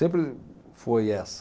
Sempre foi essa.